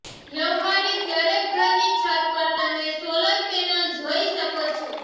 વ્યવહારીક દરેક ઘરની છત પર તમે સોલર પેનલ જોઈ શકો છો